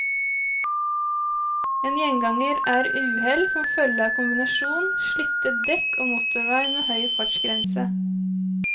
En gjenganger er uhell som følge av kombinasjonen slitte dekk og motorvei med høy fartsgrense.